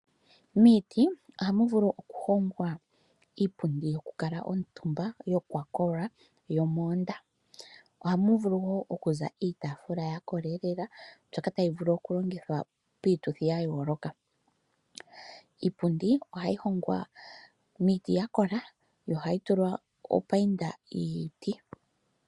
Miiti ohamu vulu okuhongwa iipundi yokukala omutumba yokwa kola yomoonda. Ohamu vulu wo okuza iitaafula ya kola lela mbyoka tayi vulu okulongithwa piituthi ya yooloka. Iipundi ohayi hongwa miiti ya kola yo ohayi tulwa opayinda yiiti.